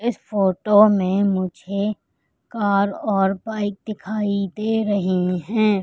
इस फोटो में मुझे कार और बाइक दिखाई दे रही हैं।